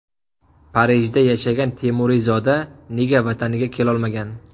Parijda yashagan temuriyzoda nega Vataniga kelolmagan?.